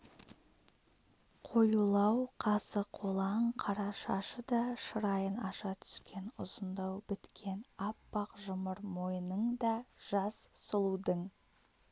қоюлау қасы қолаң қара шашы да шырайын аша түскен ұзындау біткен аппақ жұмыр мойныңда жас сұлудың